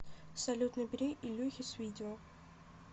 салют набери ильюхе с видео